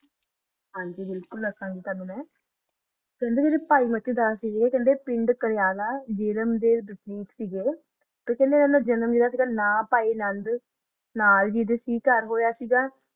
ਹਨ ਜੀ ਬਿਲਕੁਲ ਅਸ ਦਸਦਾ ਆ ਪਿੰਡ ਕਰ੍ਯਾਨਾ ਵਿਰਾਮ ਦਾ ਕਰਬ ਆ ਜਿਨਾ ਅਨਾ ਨੂ ਜਨਮ ਦਿਤਾ ਓਨਾ ਦਾ ਨਾ ਪੀਅਲ ਜੀ ਦਾ ਜੀ ਕਰ ਹੋਇਆ ਆ